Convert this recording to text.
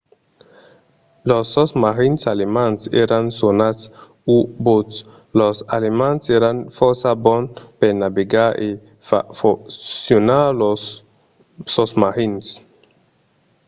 los sosmarins alemands èran sonats u-boats. los alemands èran fòrça bons per navegar e far foncionar lors sosmarins